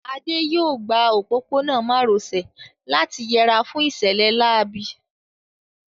Adé yóò gba òpópónà má ro sè láti yẹra fún ìṣẹ̀lẹ̀ láabi